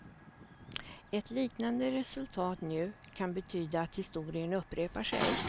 Ett liknande resultat nu kan betyda att historien upprepar sig.